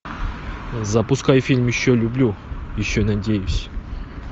запускай фильм еще люблю еще надеюсь